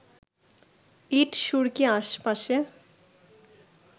ইট সুরকি আশপাশে